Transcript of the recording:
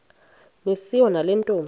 niswa nale ntombi